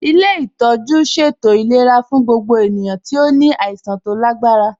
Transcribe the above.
Ilé ìtọ́jú ṣètò ìlera fún gbogbo ènìyàn tí ó ní àìsàn tó lágbára